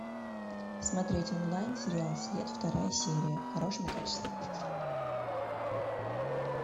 смотреть онлайн сериал след вторая серия в хорошем качестве